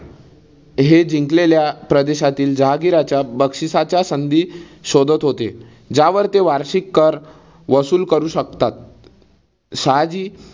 हे जिंकलेल्या प्रदेशातील जहागीराच्या बक्षिसाच्या संधी शोधात होते. ज्यावर ते वार्षिक कर वसूल करू शकतात. शहाजी